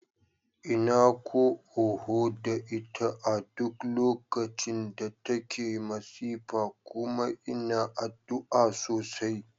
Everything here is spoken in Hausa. Ina ko oho da ita a duk lokacin da take masifa kuma ina addu'a sosai.